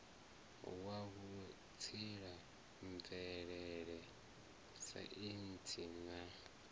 wa vhutsila mvelele saintsi na